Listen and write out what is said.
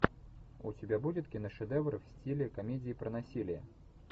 у тебя будет киношедевр в стиле комедии про насилие